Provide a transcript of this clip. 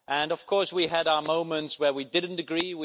Of course we had our moments when we didn't agree.